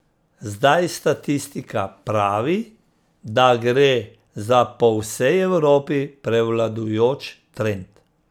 Zdaj statistika pravi, da gre za po vsej Evropi prevladujoč trend.